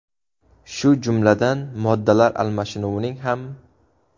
Shu jumladan, moddalar almashinuvining ham.